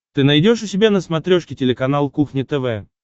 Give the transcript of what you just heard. ты найдешь у себя на смотрешке телеканал кухня тв